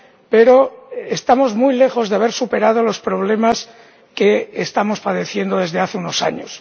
pero estamos muy lejos de haber superado los problemas que estamos padeciendo desde hace unos años.